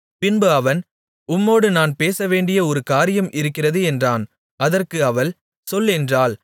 பின்பு அவன் உம்மோடு நான் பேசவேண்டிய ஒரு காரியம் இருக்கிறது என்றான் அதற்கு அவள் சொல் என்றாள்